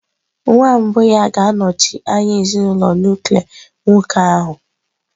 Nwa mbụ ya ga-anọchi anya ezinụlọ nuklia nwoke ahụ.